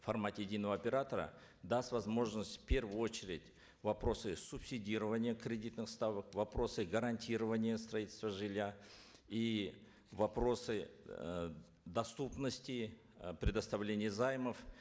в формате единого оператора даст возможность в первую очередь вопросы субсидирования кредитных ставок вопросы гарантирования строительства жилья и вопросы э доступности э предоставления займов